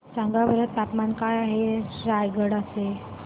सांगा बरं तापमान काय आहे रायगडा चे